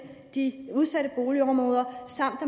de udsatte boligområder samt